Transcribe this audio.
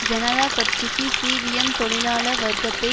ஜனதா கட்சிக்கு சிபிஎம் தொழிலாள வர்க்கத்தை